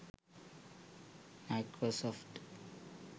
microsoft